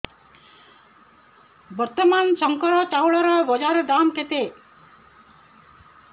ବର୍ତ୍ତମାନ ଶଙ୍କର ଚାଉଳର ବଜାର ଦାମ୍ କେତେ